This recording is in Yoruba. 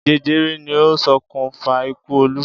Jẹjẹrẹ ni ó ṣokùnfà ikú Olú?